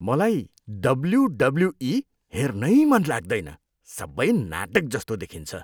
मलाई डब्ल्युडब्ल्युई हेर्नै मन लाग्दैन, सबै नाटकजस्तो देखिन्छ।